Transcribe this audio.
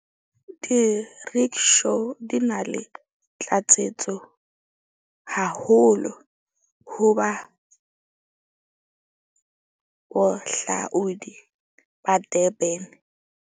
Di-rickshaw di na le tlatsetso haholo ho ba bohlaudi ba Durban.